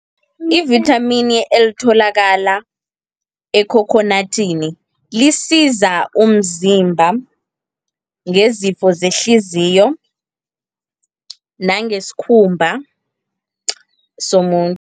I-vithamini elitholakala ekhokhonadini, lisiza umzimba ngezifo zehliziyo nangesikhumba somuntu.